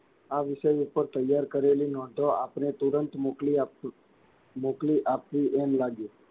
આ વિષય ઉપર તૈયાર કરેલી નોધો આપને તુરંત મોકલી આપશુ. મોકલી આપવી એમ લાગે,